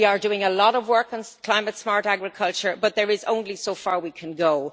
We are doing a lot of work on climate-smart agriculture, but there is only so far we can go.